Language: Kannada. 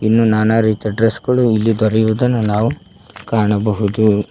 ಇನ್ನು ನಾನಾ ರೀತಿಯ ಡ್ರೆಸ್ ಗಳು ಇಲ್ಲಿ ದೊರೆಯುವುದನ್ನು ನಾವು ಇಲ್ಲಿ ಕಾಣಬಹುದು.